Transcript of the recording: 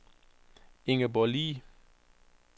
Ingeborg Le